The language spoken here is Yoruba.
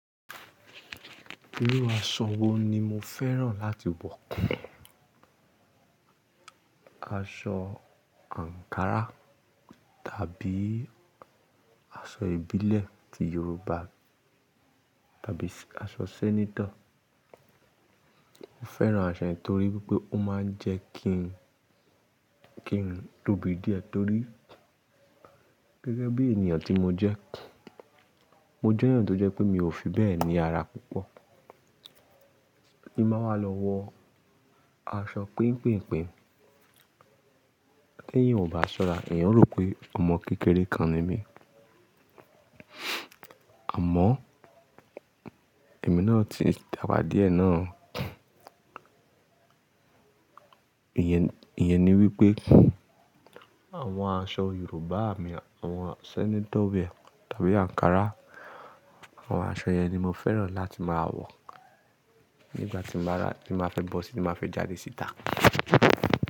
Irú aṣọ wo ni mo fẹ́ràn láti wọ pọ̀, aṣọ Ankara tàbí aṣọ ìbílẹ̀ ti Yoruba tàbí aṣọ sẹ́nétọ̀? Mo fẹ́ràn aṣọ yẹn torí pé ó máa ń jẹ́ kí n, kí n tóbi díẹ̀ torí gẹ́gẹ́ bí ènìyàn tí mo jẹ́. Mo jẹ́ ẹ̀yàn tó jẹ́ pé mi ò fi bẹ́ẹ̀ ní ara púpọ̀. Tí báa wá lọ wọ aṣọ pínpínpín, tí èèyàn ò bá ṣọ́ra, èèyàn ó rò pé ọmọ kékeré kan ni mí. Àmọ́, èmi náà ti dàgbà díẹ̀ náà. Ìyẹn ni wípé àwọn aṣọ Yorùbá mi, àwọn sẹ́nétọ̀ wẹ̀ar tàbí Ankara, àwọn aṣọ yẹn ni mo fẹ́ràn láti máa wọ̀ nígbà tín bàá rá, tí màá fẹ́ bọ́ síi tí bàá fẹ́ jáde síta.